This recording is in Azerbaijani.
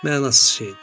Mənasız şeydir.